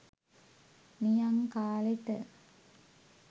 නියං කාලෙට